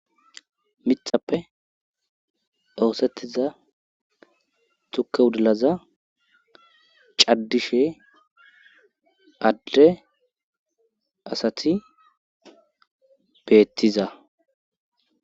Mithappe oosettiza tukka wudilaza caddishe adde asati beettiza